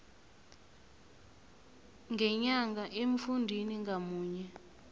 ngenyanga emfundini ngamunye